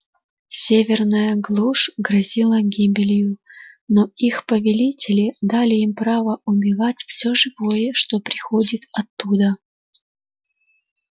северная глушь грозила гибелью но их повелители дали им право убивать всё живое что приходит оттуда